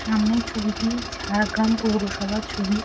সামনের ছবিটি ঝাড়গ্রাম পৌরসভার ছবি।